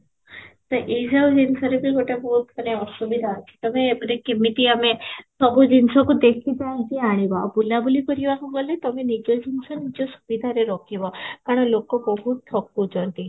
ତ ଏଇ ଯଉ ଜିନିଷରେ ବି ଗୋଟେ ବହୁତ ମାନେ ଅସୁବିଧା ଅଛି, ତୋମେ ଏପଟେ କେମିତି ଆମେ ସବୁ ଜିନିଷକୁ ଦେଖି ଚାହିଁକି ଆଣିବା, ବୁଲା ବୁଲି କରିବାକୁ ଗଲେ ତୋମେ ନିଜ ଜିନିଷ ନିଜେ ସୁବିଧାରେ ରଖିବ କାରଣ ଲୋକ ବହୁତ ଠକୁଛନ୍ତି